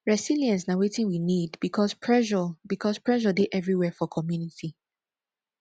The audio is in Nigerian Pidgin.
resilience na wetin we need because pressure because pressure dey everywhere for community